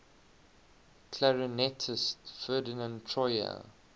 clarinetist ferdinand troyer